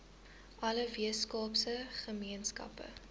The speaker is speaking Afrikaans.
alle weskaapse gemeenskappe